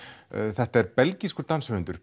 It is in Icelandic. þetta er belgískur danshöfundur